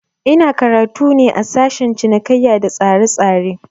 Ina karatu ne a sashen cinikaiya da tsaretsare